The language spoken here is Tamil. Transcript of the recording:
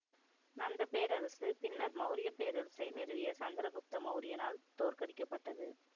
நந்த பேரரசு பின்னர் மௌரிய பேரரசை நிறுவிய சந்திரகுப்த மௌரியனால் தோற்கடிக்கப்பட்டது